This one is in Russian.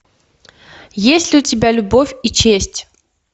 есть ли у тебя любовь и честь